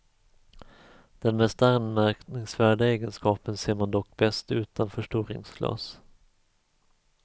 Den mest anmärkningsvärda egenskapen ser man dock bäst utan förstoringsglas.